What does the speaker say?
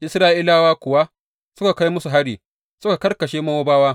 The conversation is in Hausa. Isra’ilawa kuwa suka kai musu hari, suka karkashe Mowabawa.